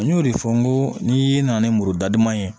N y'o de fɔ n ko n'i nana ni muru da duman ye